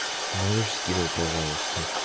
можешь скинуть пожалуйста